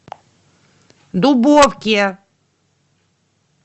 дубовке